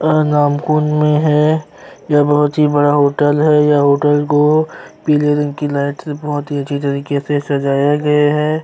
अनारकुंड में है यह बहुत ही बड़ा होटल है यह होटल को पीले रंग की लाइट से बहुत ही अच्छी तरीके से सजाया गया है।